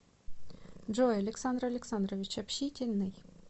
джой александр александрович общительный